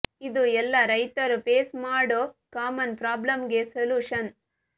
ಇದು ಎಲ್ಲ ರೈತರು ಫೇಸ್ ಮಾಡೋ ಕಾಮನ್ ಪ್ರಾಬ್ಲಮ್ ಗೆ ಸೊಲ್ಯೂಷನ್